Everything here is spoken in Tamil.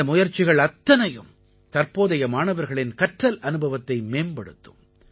இந்த முயற்சிகள் அத்தனையும் தற்போதைய மாணவர்களின் கற்றல் அனுபவத்தை மேம்படுத்தும்